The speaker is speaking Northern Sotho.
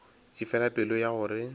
di fela pelo ya gore